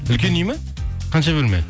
үлкен үй ме қанша бөлме